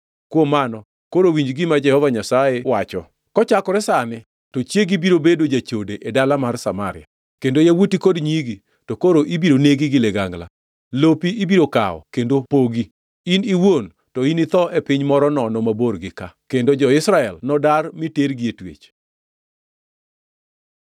“ ‘Kuom mano, koro winji gima Jehova Nyasaye wacho: “ ‘Kochakore sani to chiegi biro bedo jachode e dala mar Samaria, kendo yawuoti kod nyigi, to koro ibiro negi gi ligangla. Lopi ibiro kawo kendo pogi, in iwuon, to initho e piny moro nono mabor gi ka, kendo jo-Israel nodar, mi tergi e twech!’ ”